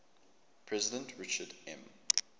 president richard m